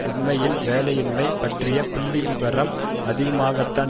உண்மையில் வேலையின்மை பற்றிய புள்ளிவிவரம் அதிகமாகத்தான்